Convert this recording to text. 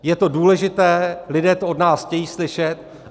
Je to důležité, lidé to od nás chtějí slyšet.